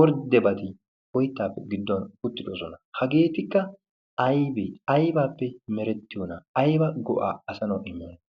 orddebati oyttaappe gidduwan uttidosona. Hageetikka aybee? Aybaappe merettiyoona? Ayba go'aa asanawu immiyona?